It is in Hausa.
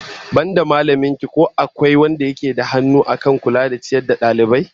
Banda mallamin ki in ko akwai wanda yake da hannu akan kula da ciyar da dalibai?